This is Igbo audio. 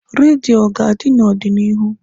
Radio ọ ga-adị n'ọdịnihu?